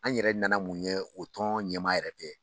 An yɛrɛ nana mun ye, o tɔn ɲɛmaa yɛrɛ dɛ